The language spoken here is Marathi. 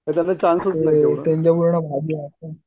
याच्यातनं चान्सेस